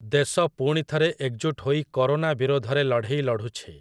ଦେଶ ପୁଣିଥରେ ଏକଜୁଟ ହୋଇ କରୋନା ବିରୋଧରେ ଲଢ଼େଇ ଲଢ଼ୁଛି ।